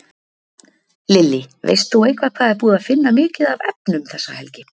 Lillý: Veist þú eitthvað hvað er búið að finna mikið af efnum þessa helgi?